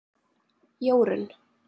Jórunn